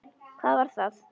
Hvað var það?